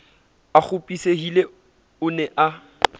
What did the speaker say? a kgopisehile o ne a